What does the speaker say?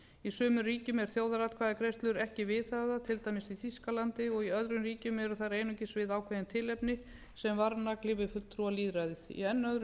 í sumum ríkjum er þjóðaratkvæðagreiðslur ekki viðhafðar til dæmis í þýskalandi og í öðrum ríkjum eru þær einungis við ákveðin tilefni sem varnagli við fulltrúalýðræðið í enn öðrum